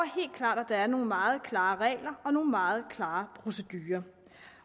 klart at der er nogle meget klare regler og nogle meget klare procedurer